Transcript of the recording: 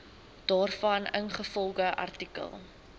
daarvan ingevolge artikel